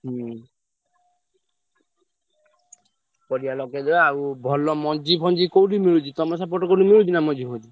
ହୁଁ। ପରିବା ଲଗେଇଦବା ଆଉ ଭଲ ମଞ୍ଜି ଫଞ୍ଜି କୋଉଠି ମିଳୁଛି ତମ ସେପଟେ କୋଉଠି ମିଳୁଛି ନା ମଞ୍ଜି ଫଞ୍ଜି?